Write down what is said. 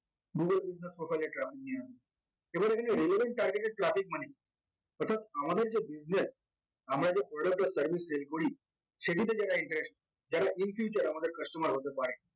google business profile এ traffic নিয়ে এবার এখানে relevant targeted traffic মানে কি অর্থাৎ আমাদের যে business আমরা যে product or service sale করি সেগুলিতে যারা interest যারা in future আমাদের customer হতে পারে